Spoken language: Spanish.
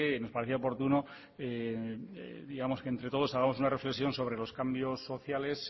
nos parecía oportuno digamos que entre todos hagamos una reflexión sobre los cambios sociales